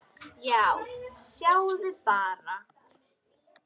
Já, sjáðu bara!